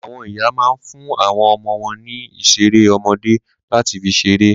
Àwọn ìyá ma ń fún àwọn ọmọ ọwọ́ ní ìṣeré ọmọdé láti fi ṣeré.